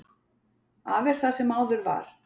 Af er það sem áður var.